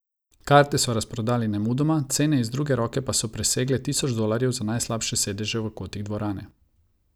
Karte so razprodali nemudoma, cene iz druge roke pa so presegle tisoč dolarjev za najslabše sedeže v kotih dvorane.